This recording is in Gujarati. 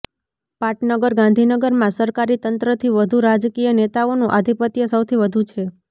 પાટનગર ગાંધીનગરમાં સરકારી તંત્રથી વધુ રાજકીય નેતાઓનું આધિપત્ય સૌથી વધુ છે